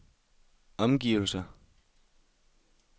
omgivelser